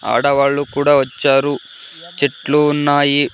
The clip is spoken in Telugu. ఆడవాళ్ళు కూడా వచ్చారు చెట్లు ఉన్నాయి.